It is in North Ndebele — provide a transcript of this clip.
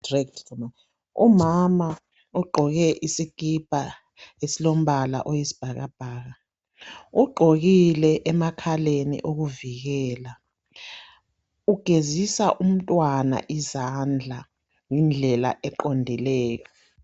Umama ogqoke isikipa esilombala oyisibhakabhaka ugqokile emakhaleni okuvikela. Ugezisa umntwana izandla ngendlela eqondileyo.